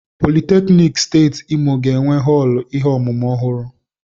Politeknik Steeti Imo ga-enwe họọlụ ihe ọmụmụ ọhụrụ.